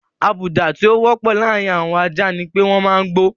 Àbùdá tí ó wọ́pọ̀ láàárin àwọn ajá ni pé wọ́n máa ń gbó.